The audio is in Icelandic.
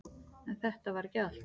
En þetta var ekki allt.